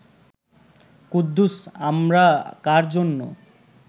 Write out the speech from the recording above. কুদ্দুস, আমরা কার জন্য